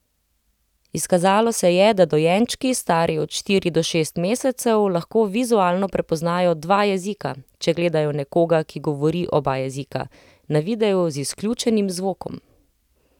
Izkazalo se je, da dojenčki, stari od štiri do šest mesecev, lahko vizualno prepoznajo dva jezika, če gledajo nekoga, ki govori oba jezika, na videu z izključenim zvokom.